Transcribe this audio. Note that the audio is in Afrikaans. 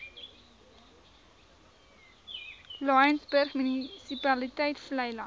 laingsburg munisipaliteit vleiland